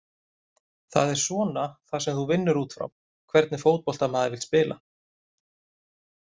Það er svona það sem þú vinnur útfrá, hvernig fótbolta maður vill spila?